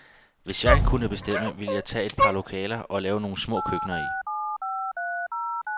Hvis jeg kunne bestemme, ville jeg tage et par lokaler og lave nogle små køkkener i.